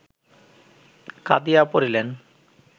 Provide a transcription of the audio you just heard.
কাঁদিয়া পড়িলেন